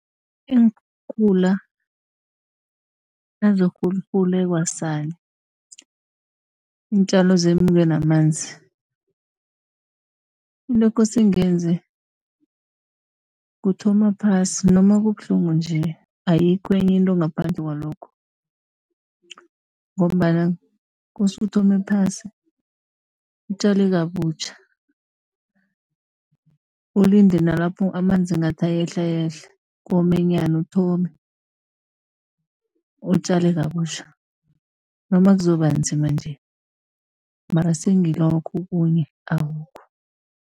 Iinkhukhula nazirhurhule kwasani, iintjalo zemuke namanzi into ekose ngiyenze kuthoma phasi noma kubuhlungu nje, ayikho enye into ngaphandle kwalokho. Ngombana kosa uthome phasi, utjale kabutjha ulinde nalapho amanzi ngathi ayehla yehla, komenyana. Uthome utjale kabuhtja noma kuzoba nzima nje mara sengilokho okhunye akukho.